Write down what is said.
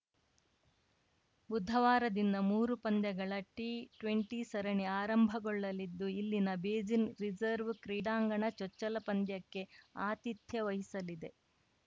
ಬುಧವಾರದಿಂದ ಮೂರು ಪಂದ್ಯಗಳ ಟಿಟ್ವೆಂಟಿ ಸರಣಿ ಆರಂಭಗೊಳ್ಳಲಿದ್ದು ಇಲ್ಲಿನ ಬೇಸಿನ್‌ ರಿಸರ್ವ್ ಕ್ರೀಡಾಂಗಣ ಚೊಚ್ಚಲ ಪಂದ್ಯಕ್ಕೆ ಆತಿಥ್ಯ ವಹಿಸಲಿದೆ